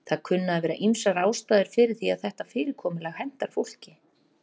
Það kunna að vera ýmsar ástæður fyrir því að þetta fyrirkomulag hentar fólki.